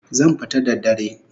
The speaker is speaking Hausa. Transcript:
Zan fita da dare